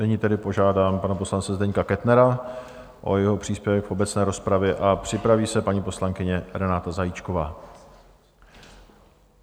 Nyní tedy požádám pana poslance Zdeňka Kettnera o jeho příspěvek v obecné rozpravě a připraví se paní poslankyně Renáta Zajíčková.